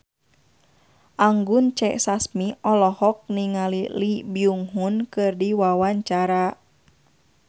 Anggun C. Sasmi olohok ningali Lee Byung Hun keur diwawancara